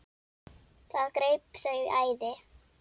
Það greip þau æði.